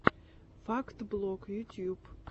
факт блог ютюб